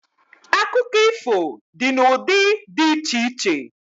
Akụkọ ifo dị n'ụdị dị iche iche